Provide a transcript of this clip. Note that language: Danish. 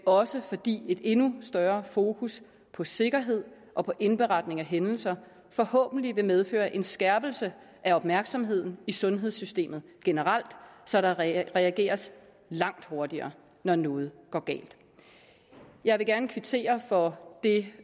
også fordi et endnu større fokus på sikkerhed og på indberetning af hændelser forhåbentlig vil medføre en skærpelse af opmærksomheden i sundhedssystemet generelt så der reageres langt hurtigere når noget går galt jeg vil gerne kvittere for det